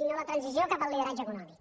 sinó la transició cap al lideratge econòmic